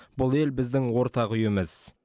бұл ел біздің ортақ үйіміз